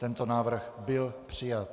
Tento návrh byl přijat.